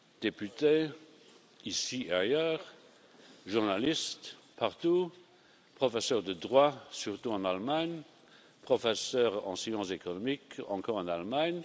Députés ici et ailleurs, journalistes partout, professeurs de droit, surtout en Allemagne, professeurs de sciences économiques, encore en Allemagne...